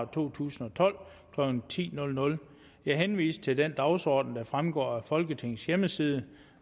to tusind og tolv klokken ti jeg henviser til den dagsorden der fremgår af folketingets hjemmeside